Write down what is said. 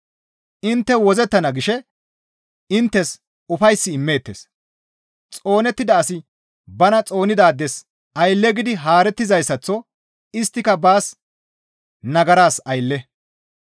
«Intte wozzettana» gishe inttes ufays immeettes; xoonettida asi bana xoonidaades aylle gidi haarettizayssaththo isttika baas nagaras aylle.